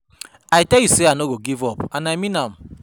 I tell you say I no go give up and I mean am